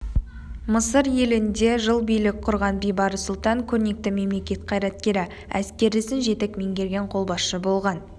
мысыр елінде жыл билік құрған бейбарыс сұлтан көрнекті мемлекет қайраткері әскер ісін жетік меңгерген қолбасшы болған